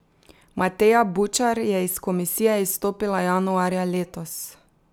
Mateja Bučar je iz komisije izstopila januarja letos.